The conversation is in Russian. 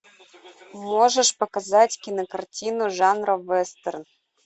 можешь показать кинокартину жанра вестерн